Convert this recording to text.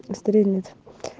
стрелец